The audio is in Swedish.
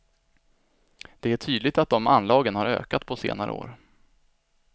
Det är tydligt att de anlagen har ökat på senare år.